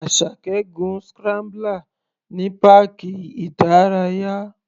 Asake gun scrambler ní páàkì ìdárayá.